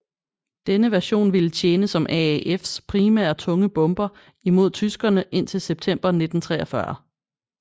Denne version ville tjene som AAFs primære tunge bomber imod tyskerene indtil September 1943